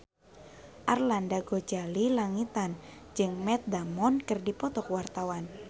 Arlanda Ghazali Langitan jeung Matt Damon keur dipoto ku wartawan